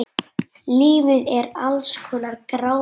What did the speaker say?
Lífið er alls konar grámi.